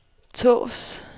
Tårs